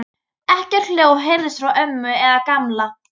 Ekkert hljóð heyrðist frá ömmu eða Gamla.